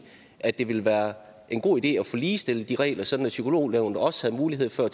at det ville være en god idé at få ligestillet de regler sådan at psykolognævnet også havde mulighed for